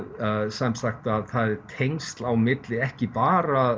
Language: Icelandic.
sem sagt tengsl á milli ekki bara